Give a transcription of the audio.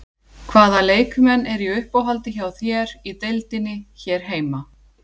Hvaða leikmenn eru í uppáhaldi hjá þér í deildinni hér heima?